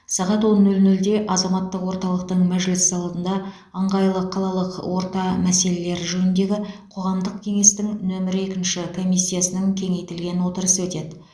сағат он нөл нөлде азаматтық орталықтың мәжіліс залында ыңғайлы қалалық орта мәселелері жөніндегі қоғамдық кеңестің нөмірі екінші комиссиясының кеңейтілген отырысы өтеді